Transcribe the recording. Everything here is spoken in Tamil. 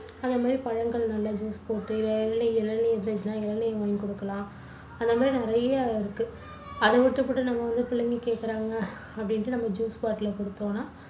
அந்த மாதிரி பழங்கள் நல்ல juice போட்டு, இளநீ~ இளநீர் வாங்கி குடுக்கலாம். அந்த மாதிரி நிறைய இருக்கு. அதை விட்டுபுட்டு நம்ம வந்து பிள்ளைங்க கேக்கறாங்க. அப்படின்னுட்டு juice bottle அ குடுத்தோம்னா